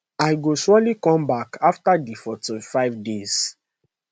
i go surely come back afta di 45 days